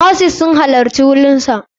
Nurses sun halarci wurinsa.